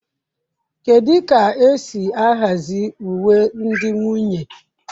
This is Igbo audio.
Kedu ka esi ahazi uwe ndị nwunye?